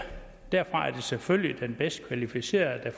det selvfølgelig den bedst kvalificerede der